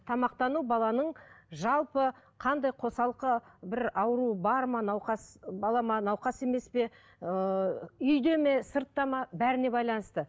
тамақтану баланың жалпы қандай қосалқы бір ауру бар ма науқас бала ма науқас емес пе ыыы үйде ме сыртта ма бәріне байланысты